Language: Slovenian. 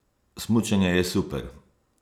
Smučanje je super!